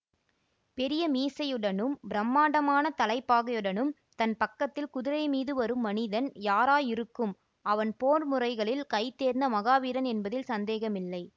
பெரிய மீசையுடனும் பிரம்மாண்டமான தலைப்பாகையுடனும் தன் பக்கத்தில் குதிரை மீது வரும் மனிதன் யாராயிருக்கும் அவன் போர் முறைகளில் கை தேர்ந்த மகாவீரன் என்பதில் சந்தேகமில்லை